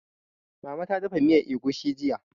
Mama ta dafa miyan egusi jiya